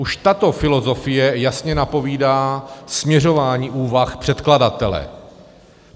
Už tato filozofie jasně napovídá směřování úvah předkladatele.